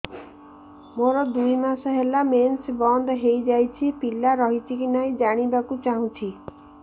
ମୋର ଦୁଇ ମାସ ହେଲା ମେନ୍ସ ବନ୍ଦ ହେଇ ଯାଇଛି ପିଲା ରହିଛି କି ନାହିଁ ଜାଣିବା କୁ ଚାହୁଁଛି